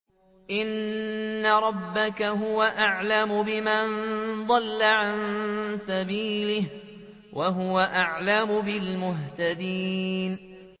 إِنَّ رَبَّكَ هُوَ أَعْلَمُ بِمَن ضَلَّ عَن سَبِيلِهِ وَهُوَ أَعْلَمُ بِالْمُهْتَدِينَ